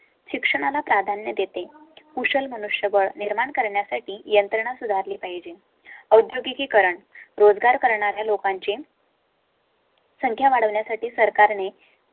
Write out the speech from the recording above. शिक्षणा ला प्राधान्य देते. कुशल मनुष्यबळ निर्माण करण्यासाठी यंत्रणा सुधार ली पाहिजे. औद्योगिकीकरण, रोजगार करणारे लोकांचे. संख्या वाढवण्या साठी सरकारने